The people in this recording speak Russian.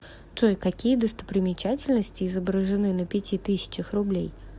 джой какие достопримечательности изображены на пяти тысячах рублей